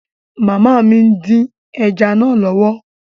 Màmá mi ń dín ẹja náà lọ́wọ́